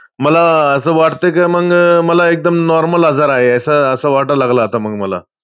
मला असं वाटतं की मग मला एकदम normal आजार आहे, असं वाटायला लागलं आता मग मला